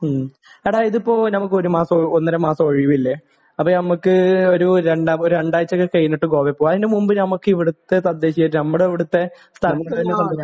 മ്മ്. എടാ, ഇതിപ്പോൾ നമുക്ക് ഒരു മാസമോ ഒന്നര മാസമോ ഒഴിവില്ലേ? അപ്പോൾ നമുക്ക് ഒരു രണ്ട് ഒരു രണ്ടാഴ്ചയൊക്കെ കഴിഞ്ഞിട്ട് ഗോവയിൽ പോവാം. അതിന് മുൻപ് നമുക്ക് ഇവിടുത്തെ തദ്ദേശീയമായിട്ട് നമ്മുടെ ഇവിടുത്തെ സ്ഥലങ്ങളിൽ